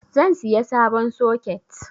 Zan siya sabon soket